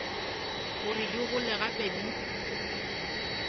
gore di gole gape di